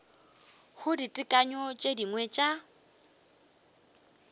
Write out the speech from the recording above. go ditekanyo tše dingwe tša